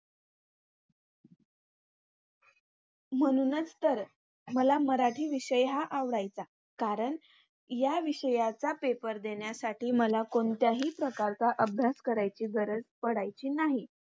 म्हणूनच तर मला मराठी विषय हा आवडायचा. कारण या विषयाचा पेपर देण्यासाठी मला कोणत्याही प्रकारचा अभ्यास करायची गरज पडायची नाही.